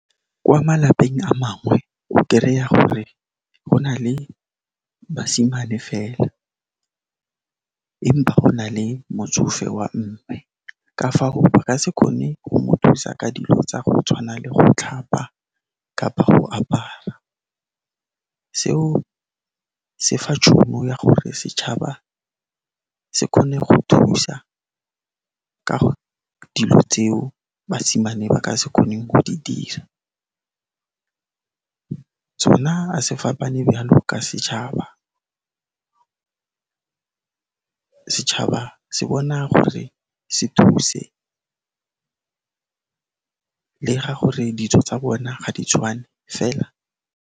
Kwa malapeng a mangwe, o kereya gore go na le basimane fela empa go na le motsofe wa mme, ka fago ba ka se kgone go mo thusa ka dilo tsa go tshwana le go tlhapa kapa go apara. Seo se fa tšhono ya gore setšhaba se kgone go thusa ka dilo tseo basimane ba ka se kgoneng go di dira. Sona a se fapane byalo ka setšhaba, setšhaba se bona gore se thuse le ga gore dijo tsa bona ga di tshwane fela.